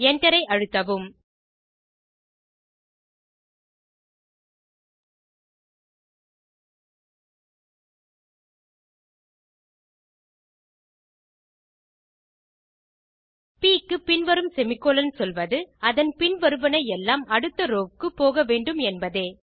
Enter ஐ அழுத்தவும் ப் க்குப்பின் வரும் செமிகோலன் சொல்வது அதன் பின் வருவன எல்லாம் அடுத்த ரோவ் க்கு போகவேண்டும் என்பதே